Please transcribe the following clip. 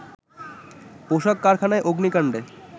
পোশাক কারখানায় অগ্নিকান্ডে